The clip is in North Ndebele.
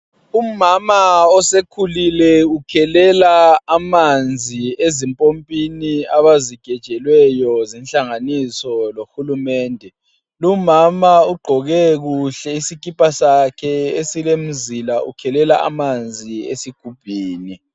Umama osekhulile ukhelela amanzi ezimpompini abazigejelweyo zinhlanganiso lohulumende lumama ugqoke kuhle isikipa sakhe esilemzila ukhelela amanzi esigubhini.